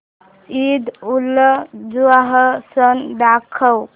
ईदउलजुहा सण दाखव